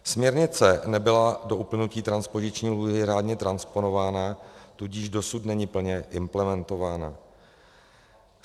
Směrnice nebyla do uplynutí transpoziční lhůty řádně transponována, tudíž dosud není plně implementována.